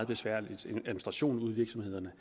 besværlig administration ude i virksomhederne